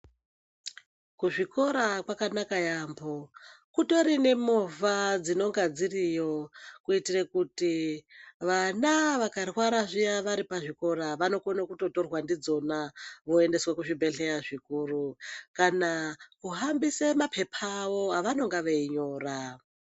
Kuzvikora kwakanaka yambo kutori nemovha dzinonga dziriyo kuitira kuti vana vakarwara zviya vari pazvikora vanokona kutotorwa ndidzona voenda kuzvibhehleya zvikuru kana kuhambisa mapepa avo avanenge veinyora